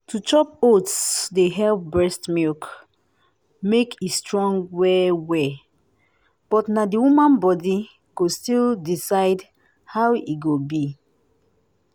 to chop oats dey help breast milk make e strong well -well but na the woman body go still decide how e go be.